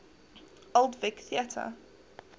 old vic theatre